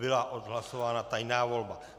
Byla odhlasována tajná volba.